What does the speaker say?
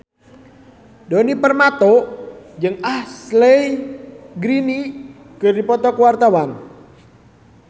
Djoni Permato jeung Ashley Greene keur dipoto ku wartawan